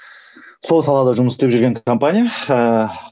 сол салада жұмыс істеп жүрген компания ыыы